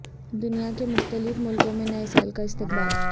دنیا کے مختلف ملکوں میں نئے سال کا استقبال